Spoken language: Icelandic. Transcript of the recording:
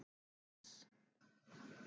S